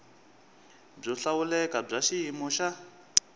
byo hlawuleka bya xiyimo xa